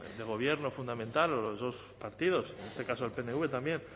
del gobierno fundamental o los dos partidos en este caso el pnv también